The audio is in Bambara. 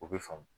O bɛ faamu